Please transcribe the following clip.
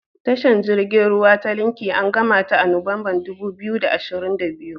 Tashar jirgin ruwa ta Lekki an gamata a Nuwanbar dubu biyu da ashirin da biyu.